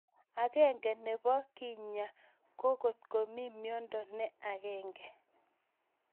Ag'eng'e nepo kenyaa ko kotko mii miondo ne ag'eng'e